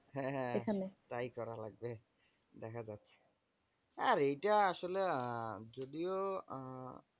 হ্যাঁ হ্যাঁ। তাই করা লাগবে দেখা যাক। আর এইটা আসলে আহ যদিও আহ